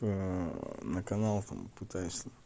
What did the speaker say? на канал там пытаюсь